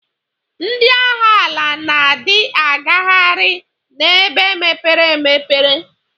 Ndi agha ala na di agaghari na ebe mepere emepe.